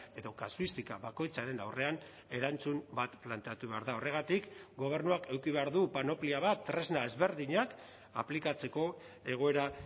edo kasuistika bakoitzaren aurrean erantzun bat planteatu behar da horregatik gobernuak eduki behar du panoplia bat tresna ezberdinak aplikatzeko egoera